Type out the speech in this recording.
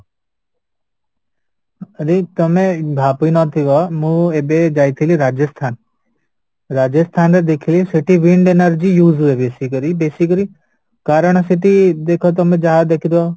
ଅନିଲ ତମେ ଭାବି ନଥିବା ମୁଁ ଏବେ ଯାଇଥିଲି ରାଜସ୍ଥାନ ରାଜସ୍ଥାନରେ ଦେଖିଲି ସେଠି wind energy use ହୁଏ ବେଶିକରି ବେଶିକରି କାରଣ ସେଠି ଦେଖ ତମେ ଯାହା ଦେଖିଥିବା